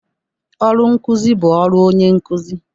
Ọrụ nkụzị bụ ọrụ onye nkụzị.